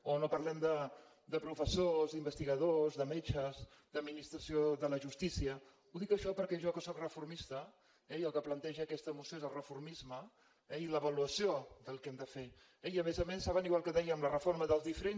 o no parlem de professors d’investigadors de metges d’administració de la jus·tícia dic això perquè jo que sóc reformista eh i el que planteja aquesta moció és el reformisme i l’avaluació del que hem de fer eh i a més a més saben igual que dèiem la reforma dels diferents